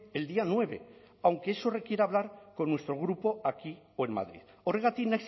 el día nueve aunque eso requiera hablar con nuestro grupo aquí o en madrid horregatik